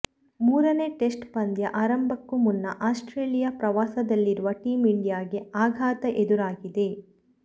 ಮೂರನೇ ಟೆಸ್ಟ್ ಪಂದ್ಯ ಆರಂಭಕ್ಕೂ ಮುನ್ನ ಆಸ್ಟ್ರೇಲಿಯಾ ಪ್ರವಾಸದಲ್ಲಿರುವ ಟೀಂ ಇಂಡಿಯಾಗೆ ಆಘಾತ ಎದುರಾಗಿದೆ